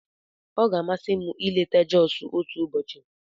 Ọ ga-amasị m ileta Josu otu ụbọchị.